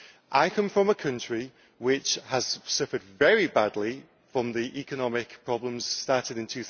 I come from a country which has suffered very badly from the economic problems started in